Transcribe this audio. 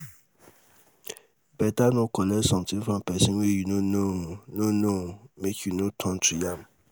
beta no collect something from pesin wey you no know no know make you no turn to yam